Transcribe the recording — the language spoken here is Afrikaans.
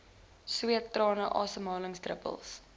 sweet trane asemhalingsdruppels